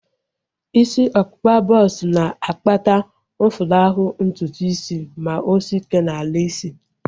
Isi ọkpụkpa bọks na-akpata mfulahu ntutu isi ma o sie ike n'ala isi